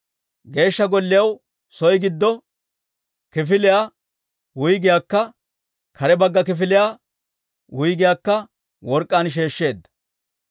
Geeshsha Golliyaw soo giddo kifiliyaa wuyggiyaakka kare bagga kifiliyaa wuyggiyaakka work'k'aan sheeshsheedda.